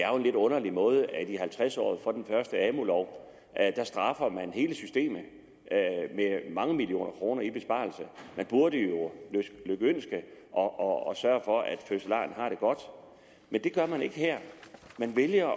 er en lidt underlig måde at at i halvtreds året for den første amu lov straffer hele systemet med mange millioner kroner i besparelser man burde jo lykønske og sørge for at fødselaren har det godt men det gør man ikke her man vælger